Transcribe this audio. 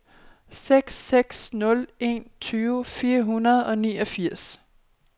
seks seks nul en tyve fire hundrede og niogfirs